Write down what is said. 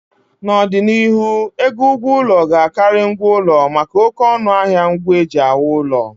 N'ọdịnihu, ego ụgwọ ụlọ ga-Akari ngwa ụlọ maka oké ọnụ ahịa ngwa e ji ewu ụlọ